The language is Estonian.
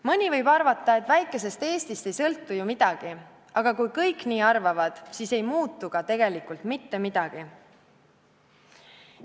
Mõni võib arvata, et väikesest Eestist ei sõltu ju midagi, aga kui kõik nii arvavad, siis ei muutu ka tegelikult mitte midagi.